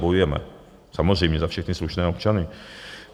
Bojujeme samozřejmě za všechny slušné občany.